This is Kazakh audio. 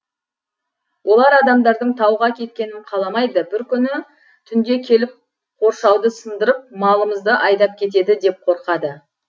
олар адамдардың тауға кеткенін қаламайды бір күні түнде келіп қоршауды сындырып малымызды айдап кетеді деп қорқады